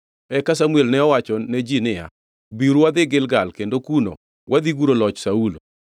Eka Samuel ne owacho ne ji niya, “Biuru wadhi Gilgal kendo kuno wadhi guro loch Saulo.”